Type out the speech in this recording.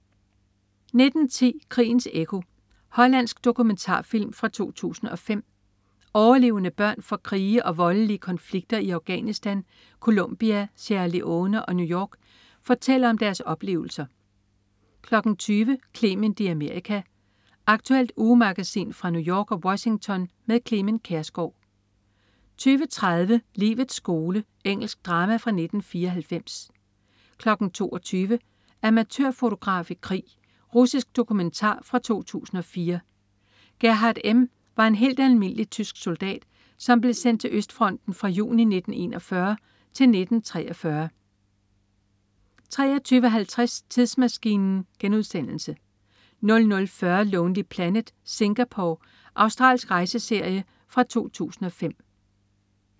19.10 Krigens ekko. Hollandsk dokumentarfilm fra 2005. Overlevende børn fra krige og voldelige konflikter i Afghanistan, Colombia, Sierra Leone og New York fortæller om deres oplevelser 20.00 Clement i Amerika. Aktuelt ugemagasin fra New York og Washington med Clement Kjersgaard 20.30 Livets skole. Engelsk drama fra 1994 22.00 Amatørfotograf i krig. Russisk dokumentar fra 2004. Gerhard M. var en helt almindelig tysk soldat, som blev sendt til Østfronten fra juni 1941 til 1943 23.50 Tidsmaskinen* 00.40 Lonely Planet: Singapore. Australsk rejseserie fra 2005